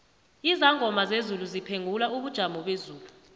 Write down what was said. izangoma zezulu ziphengula ubujomobezulu